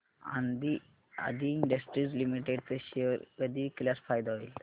आदी industries limited चे share कधी विकल्यास फायदा होईल